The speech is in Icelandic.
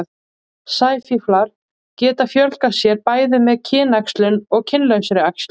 sæfíflar geta fjölgað sér bæði með kynæxlun og kynlausri æxlun